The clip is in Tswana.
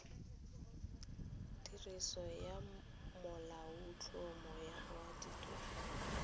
tiriso ya molaotlhomo wa repaboliki